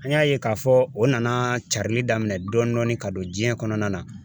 An y'a ye k'a fɔ o nana carili daminɛ dɔɔnin dɔɔnin ka don diɲɛ kɔnɔna na